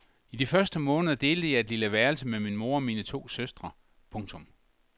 I de første måneder delte jeg et lille værelse med min mor og mine to søstre. punktum